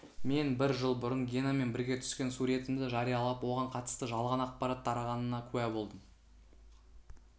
мен бір жыл бұрын генамен бірге түскен суретімді жариялап оған қатысты жалған ақпарат тарағанына куә болдым